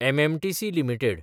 MMTC limited